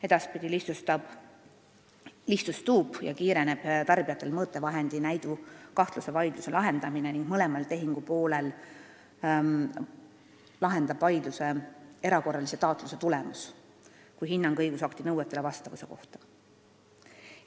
Edaspidi muutub tarbijatel mõõtevahendi näidu kahtluse korral vaidluse lahendamine kiiremaks ja lihtsamaks ning mõlema tehingupoole jaoks lahendab vaidluse erakorralise taatluse tulemus kui hinnang õigusakti nõuetele vastavuse kohta.